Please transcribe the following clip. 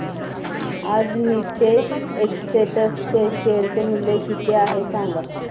आज नीतेश एस्टेट्स चे शेअर मूल्य किती आहे सांगा